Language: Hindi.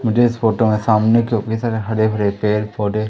मुझे इस फोटो में सामने सारे हडे भडे पेड़ पौडे --